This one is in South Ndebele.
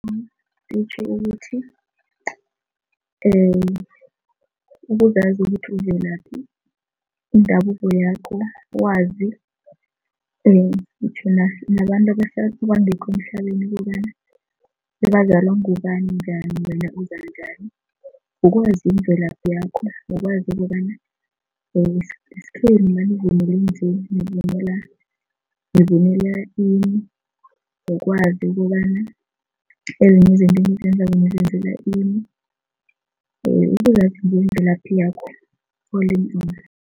Kutjho ukuthi ukuzazi ukuthi uvelaphi indabuko yakho, wazi nabantu kobana bazalwa ngubani, njani wena uza njani, kukwazi imvelaphi yakho nokwazi ukobana isikhenu nanivule nje nivunula nivunula ini nokwazi ukobana ezinye izinto enizenzako nizenzela ini, ukuzazi ngemvelaphi yakho all in all.